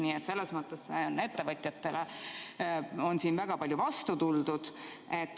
Nii et selles mõttes on ettevõtjatele siin väga palju vastu tuldud.